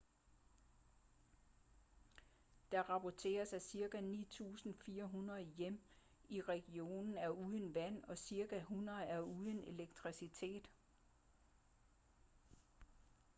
der rapporteres at cirka 9.400 hjem i regionen er uden vand og cirka 100 er uden elektricitet